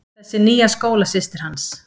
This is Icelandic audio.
Þessi nýja skólasystir hans.